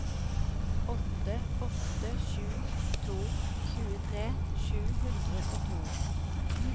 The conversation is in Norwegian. åtte åtte sju to tjuetre sju hundre og to